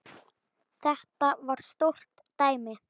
Þetta var stórt dæmi.